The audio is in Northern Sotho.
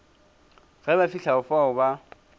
ge ba fihla fao ba